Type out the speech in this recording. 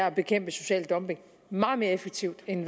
at bekæmpe social dumping meget mere effektivt end